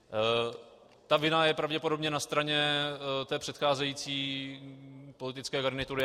Ta vina je pravděpodobně na straně té předcházejí politické garnitury.